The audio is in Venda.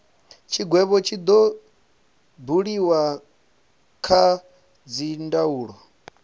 tshigwevho tshi do buliwa kha dzindaulo